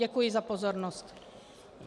Děkuji za pozornost.